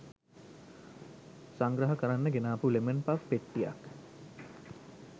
සංග්‍රහ කරන්න ගෙනාපු ලෙමන් පෆ් පෙට්ටියක්